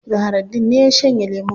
Zahraddeen ne ya shanye lemun.